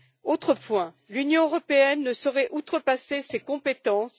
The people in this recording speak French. Autre point, l'Union européenne ne saurait outrepasser ses compétences.